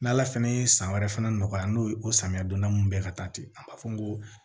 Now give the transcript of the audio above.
N'ala fɛnɛ ye san wɛrɛ fana nɔgɔya n'o ye o samiya donda mun bɛ ka taa ten a b'a fɔ n ko